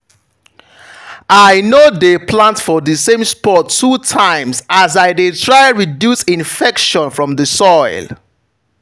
i no dey plant for the same spot two times as i dey try reduce infection from the soil.